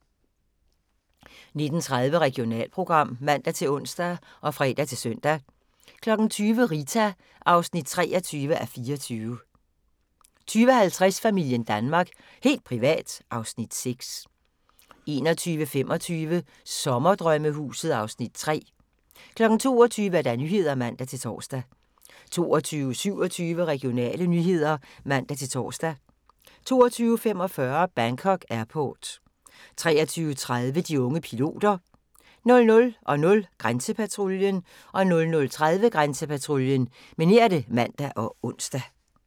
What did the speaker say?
19:30: Regionalprogram (man-ons og fre-søn) 20:00: Rita (23:24) 20:50: Familien Danmark – helt privat (Afs. 6) 21:25: Sommerdrømmehuset (Afs. 3) 22:00: Nyhederne (man-tor) 22:27: Regionale nyheder (man-tor) 22:45: Bangkok Airport 23:30: De unge piloter 00:00: Grænsepatruljen 00:30: Grænsepatruljen (man og ons)